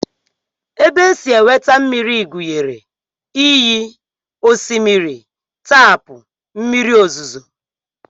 Ebe e si enweta mmiri gụnyere iyi, osimiri, taapụ, mmiri ozuzu